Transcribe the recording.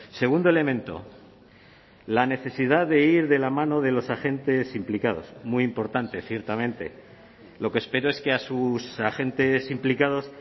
segundo elemento la necesidad de ir de la mano de los agentes implicados muy importante ciertamente lo que espero es que a sus agentes implicados